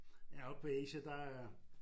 Ja oppe på Asia der